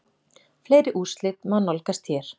Fleiri úrslit má nálgast hér